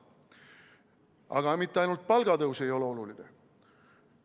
Aga mitte ainult palgatõus ei ole oluline.